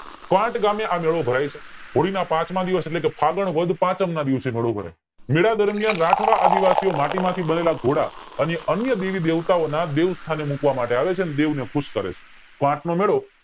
quote ગામે આ મેળો ભરાય છે હોળી ના પાંચમા દિવસ એટલે કે ફાગણ વદ પાંચમ ના દિવસે મેળો ભરાય મેલા દરમિયાન માટી માંથી બનેલા ઘોડા અને અન્ય દેવી દેવતા ઓ ના દેવ સ્થાને મુકવા માટે આવે છે અને દેવ ને ખુશ કરે છે ક્વોટ નો મેળો